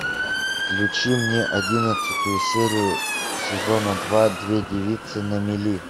включи мне одиннадцатую серию сезона два две девицы на мели